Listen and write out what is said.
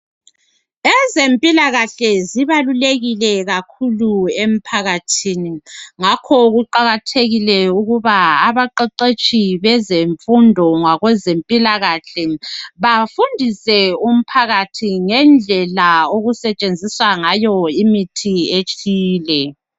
ezempilakahle zibalulekile kakhulu emphakathini ngakho kuqakathekile ukuba abaqeqetshi bezemfundo labezempilakahle bafundise umphakathi ngendlela okusetshenziswa ngayo imithi ethile